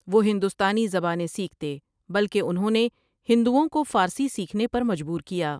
وہ ہندوستانی زبانیں سیکھتے بلکہ انہوں نے ہندوؤں کو فارسی سیکھنے پر مجبور کیا ۔